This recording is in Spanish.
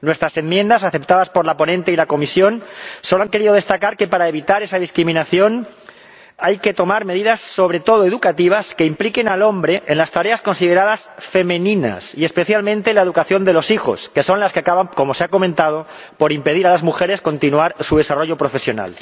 Nuestras enmiendas, aceptadas por la ponente y la comisión, solo han querido destacar que, para evitar esa discriminación, hay que tomar medidas sobre todo educativas que impliquen al hombre en las tareas consideradas femeninas, y especialmente en la educación de los hijos, que son las que acaban ―como se ha comentado― por impedir que las mujeres continúen su desarrollo profesional.